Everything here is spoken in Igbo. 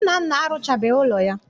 Nnanna arụchabeghị ụlọ ya